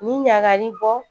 Nin ɲagali bɔ